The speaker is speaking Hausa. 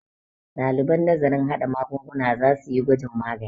ɗaliban nazarin haɗa magungunan za su yi gwajin magani